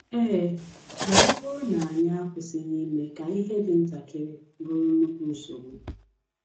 Ee, ma ọ bụrụ na anyị akwụsịghị ime ka ihe dị ntakịrị bụrụ nnukwu nsogbu.